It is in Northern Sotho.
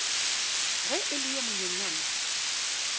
ge e le yo monyenyane